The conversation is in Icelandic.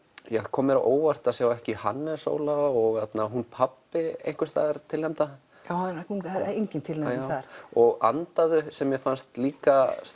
kom mér á óvart að sjá ekki Hannes Óla og hún pabbi einhvers staðar tilnefnda já það er engin tilnefning þar og andaðu sem mér fannst líka